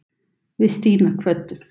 Við Stína kvöddum.